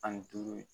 Ani duuru ye